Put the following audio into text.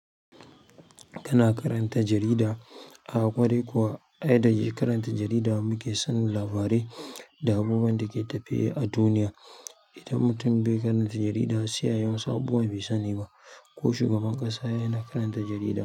Kana karanta jarida a ƙwarai kuwa? Ai da karanta jarida muke sanin labarai da abubuwan da ke tafe a duniya. Idan mutum bai karanta jarida sai ayi wasu abubuwa bai sani ba. Ko shugaban ƙasa yana karanta jarida.